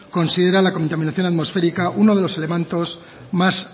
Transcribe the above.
considera la contaminación atmosférica uno de los elementos más